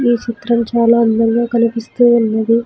ఈ చిత్రం చాలా అందంగా కనిపిస్తూ ఉన్నది.